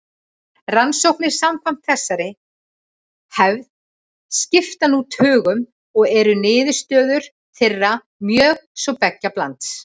Rannsóknir samkvæmt þessari hefð skipta nú tugum og eru niðurstöður þeirra mjög svo beggja blands.